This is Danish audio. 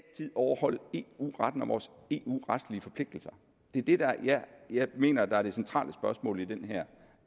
overholde eu retten og vores eu retlige forpligtelser det er det jeg mener er det centrale spørgsmål i den